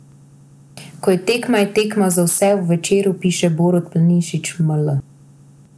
Ko je tekma, je tekma za vse, v Večeru piše Borut Planinšič ml.